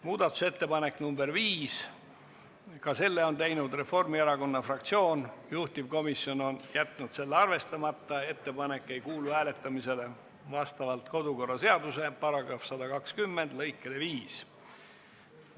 Muudatusettepanek nr 5, ka selle on teinud Reformierakonna fraktsioon, juhtivkomisjon on jätnud selle arvestamata, vastavalt kodukorraseaduse § 120 lõikele 5 ei kuulu ettepanek hääletamisele.